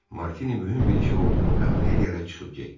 Martini mühüm bir işi olduğunu bəhanə eləyərək çıxıb getdi.